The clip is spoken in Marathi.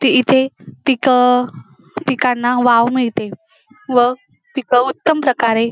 ते इथे पीक पिकांना वाव मिळते व पीक उत्तम प्रकारे--